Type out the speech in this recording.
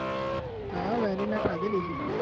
હા વેનીલા ખાધેલી છે